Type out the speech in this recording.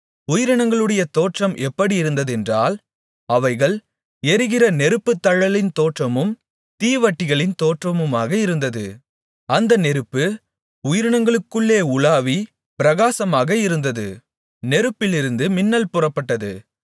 உயிரினங்களுடைய தோற்றம் எப்படியிருந்ததென்றால் அவைகள் எரிகிற நெருப்புத்தழலின் தோற்றமும் தீவட்டிகளின் தோற்றமுமாக இருந்தது அந்த நெருப்பு உயிரினங்களுக்குள்ளே உலாவிப் பிரகாசமாக இருந்தது நெருப்பிலிருந்து மின்னல் புறப்பட்டது